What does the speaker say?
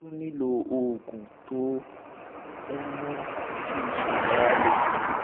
o tún nílò àwọn oògùn tó ń mú kí iṣan ara le